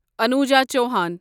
Anuja Chauhan